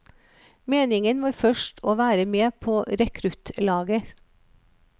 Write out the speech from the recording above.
Meningen var først å være med på rekruttlaget.